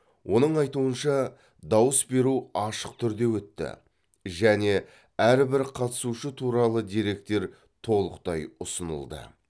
оның айтуынша дауыс беру ашық түрде өтті және әрбір қатысушы туралы деректер толықтай ұсынылды